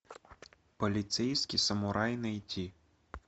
полицейский самурай найти